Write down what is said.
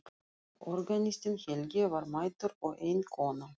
Organistinn Helgi var mættur og ein kona.